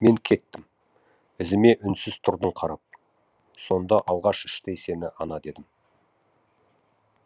мен кеттім ізіме үнсіз тұрдың қарап сонда алғаш іштей сені ана дедім